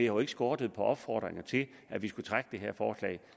jo ikke skortet på opfordringer til at vi skulle trække det her forslag